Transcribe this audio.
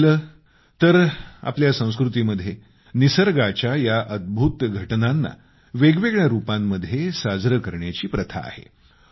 तसं पाहिलं गेलं तर आपल्या संस्कृतीमध्ये निसर्गाच्या या अद्भूत घटनांना वेगवेगळ्या रूपांमध्ये साजरे करण्याची प्रथा आहे